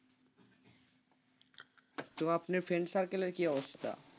তো আপনার friend circle এর কি অবস্থা?